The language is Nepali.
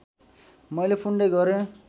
मैले पुण्य गरेँ